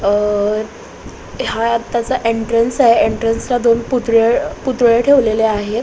अ हा आत्ताचा एंट्रेंस आहे एंट्रेंस ला दोन पूतळ पुतळे ठेवलेले आहे.